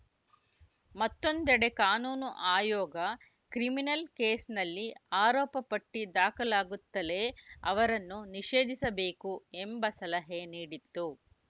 ಮತ್ತೊಂದೆಡೆ ಕಾನೂನು ಆಯೋಗ ಕ್ರಿಮಿನಲ್‌ ಕೇಸಿನಲ್ಲಿ ಆರೋಪ ಪಟ್ಟಿದಾಖಲಾಗುತ್ತಲೇ ಅವರನ್ನು ನಿಷೇಧಿಸಬೇಕು ಎಂಬ ಸಲಹೆ ನೀಡಿತ್ತು